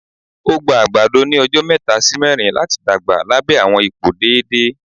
Ó gba àgbàdo ní ọjọ mẹ́ta sì mẹrin láti dàgbà lábẹ́ àwọn ipò déédéé